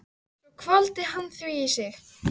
Svo hvolfdi hann því í sig.